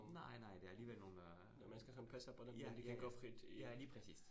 Nej, nej, der alligevel nogle øh ja, ja ja, ja lige præcist